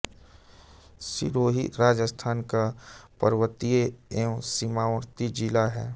सिरोही राजस्थान का पर्वतीय एवं सीमावर्ती जिला हैं